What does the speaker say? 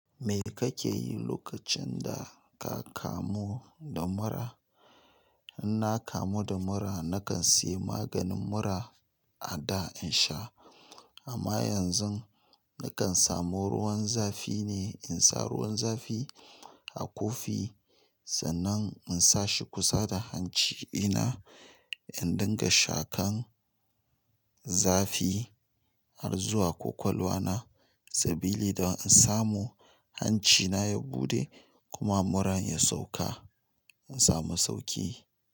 Me kake yi lokacin da ka kamu da mura? Inna kamubda mura nakan sayi maganin mura ada insha amma yanzu na kan samo ruwan zafi ne. In sa ruwan zafi a kofi sannan in sa shi kusa da hanci ina, in dinga shakan zafi har zuwa kwakwalwa na sabili don in samu hancina ya buɗe kuma muran ya sauka. In samu sauki.